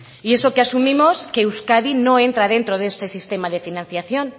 y eso que asumimos que euskadi no entra dentro de ese sistema de financiación